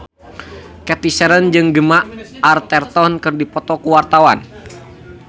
Cathy Sharon jeung Gemma Arterton keur dipoto ku wartawan